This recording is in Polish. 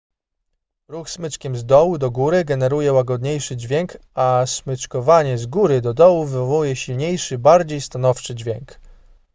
ruch smyczkiem z dołu do góry generuje łagodniejszy dźwięk a smyczkowanie z góry do dołu wywołuje silniejszy bardziej stanowczy dźwięk